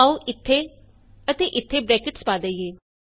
ਆਉ ਇਥੇ ਅਤੇ ਇਥੇ ਬਰੈਕਟਸ ਪਾ ਦਈਏ